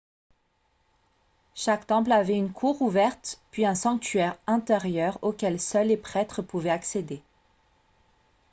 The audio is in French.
chaque temple avait une cour ouverte puis un sanctuaire intérieur auquel seuls les prêtres pouvaient accéder